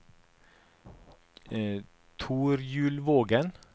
Torjulvågen